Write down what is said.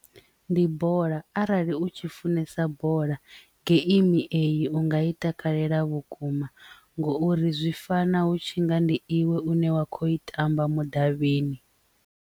Ndi bola arali u tshi funesa bola geimi eyi unga i takalela vhukuma ngouri zwi fana hu tshi nga ndi iwe une wa kho i tamba mudavhini.